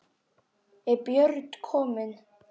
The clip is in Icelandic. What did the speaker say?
Er Björn kominn?